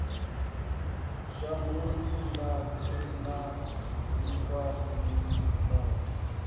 shangoni ḽothe na ḽifhasini ḽothe